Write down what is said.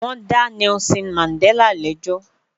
Wọ́n dá Nelson Mandela lẹ́jọ́